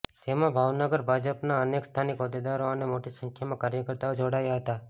જેમાં ભાવનગર ભાજપના અનેક સ્થાનિક હોદ્દેદારો અને મોટી સંખ્યામાં કાર્યકર્તાઓ જોડાયા હતા